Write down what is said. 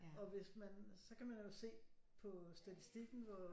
Og hvis man så kan man jo se på statistikken hvor